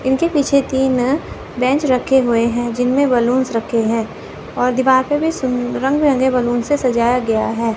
इनके पीछे तीन अ बेंच रखे हुए हैं जिनमें बलूंस रखे हैं और दीवार पे भी सुन रंग बिरंगे बैलून से सजाया गया है।